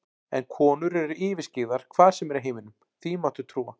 En konur eru yfirskyggðar hvar sem er í heiminum, því máttu trúa.